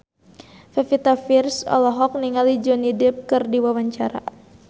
Pevita Pearce olohok ningali Johnny Depp keur diwawancara